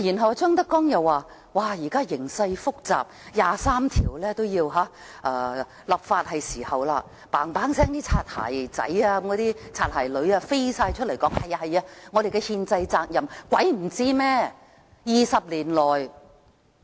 當張德江又說現時形勢複雜，是時候就第《基本法》第二十三條立法，那些"擦鞋仔、擦鞋女"飛快走出來說這是我們的憲制責任，誰會不知道呢？